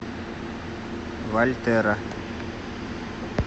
вальтера